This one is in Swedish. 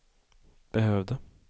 behövde